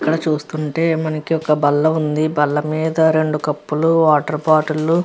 ఇక్కడ చూస్తుంటే మనకి ఒక బల్ల ఉంది. బల్లమీద రెండు కప్పు లు వాటర్ బాటిల్ లు --